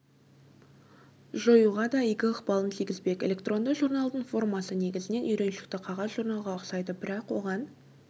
жоюға да игі ықпалын тигізбек электронды журналдың формасы негізінен үйреншікті қағаз журналға ұқсайды бірақ оған